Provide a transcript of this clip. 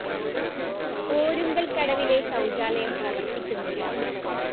ഓരുങ്കല്‍ കടവിലെ ശൗചാലയം പ്രവര്‍ത്തിക്കുന്നില്ല